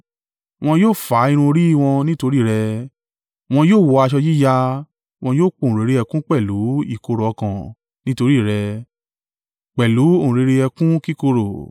Wọn yóò fá irun orí wọn nítorí rẹ wọn yóò wọ aṣọ yíya wọn yóò pohùnréré ẹkún pẹ̀lú ìkorò ọkàn nítorí rẹ pẹ̀lú ohùn réré ẹkún kíkorò.